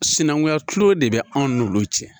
Sinankunya tulo de bɛ anw n'olu cɛ